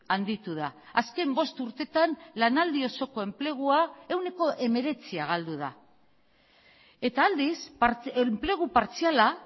handitu da azken bost urtetan lanaldi osoko enplegua ehuneko hemeretzia galdu da eta aldiz enplegu partziala